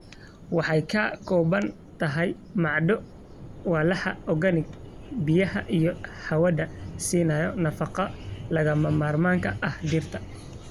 Waxay ka kooban tahay macdano, walxaha organic, biyaha, iyo hawada, siinaya nafaqo lagama maarmaanka ah dhirta.